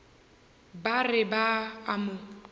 ba re ba a mo